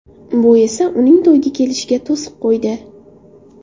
Bu esa uning to‘yga kelishiga to‘siq qo‘ydi.